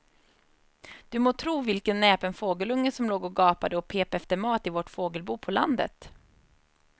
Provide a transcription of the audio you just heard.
Du må tro vilken näpen fågelunge som låg och gapade och pep efter mat i vårt fågelbo på landet.